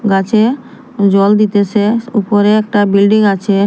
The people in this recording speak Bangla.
গাছে জল দিতেসে ওপরে একটা বিল্ডিং আছে।